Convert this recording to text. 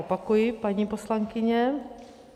Opakuji, paní poslankyně.